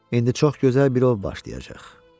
İndi çox gözəl bir ov başlayacaq.